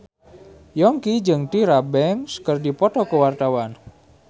Yongki jeung Tyra Banks keur dipoto ku wartawan